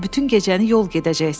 bütün gecəni yol gedəcəksən.